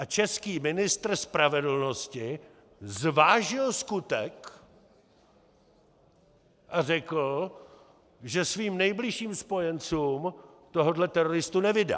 A český ministr spravedlnosti zvážil skutek a řekl, že svým nejbližším spojencům tohohle teroristu nevydá!